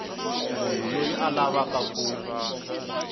munhu loyi a lavaku ku